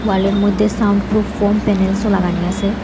ওয়ালের মধ্যে soundproof foam প্যানেলসও লাগানি আসে ।